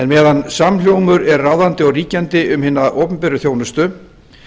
meðan samhljómur er ráðandi og ríkjandi um hina opinberu þjónustu